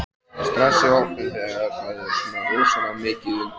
Stress í hópnum þegar það er svona rosalega mikið undir?